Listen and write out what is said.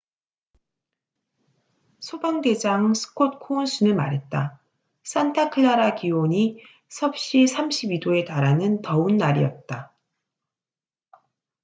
"소방 대장 스콧 코운스는 말했다. "산타클라라 기온이 32℃에 달하는 더운 날이었다.